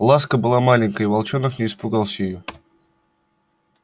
ласка была маленькая и волчонок не испугался её